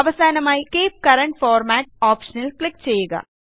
അവസാനമായി keep current format ഓപ്ഷനിൽ click ചെയ്യുക